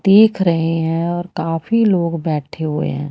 देख रहे हैं और काफी लोग बैठे हुए है।